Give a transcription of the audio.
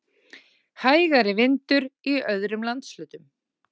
Hægari vindur í öðrum landshlutum